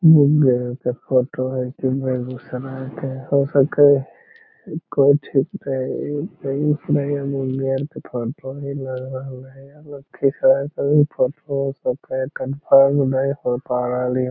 ऐसे फोटो हय दिनभर एकदम समय के हो सके कोन चीज़ के कन्फर्म नहीं हो पा रहलिय --